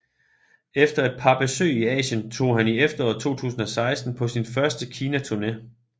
Efter et par besøg i Asien tog han i efteråret 2016 på sin første Kinaturné